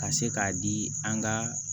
Ka se k'a di an ka